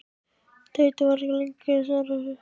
Teitur var ekki lengi að svara þessu.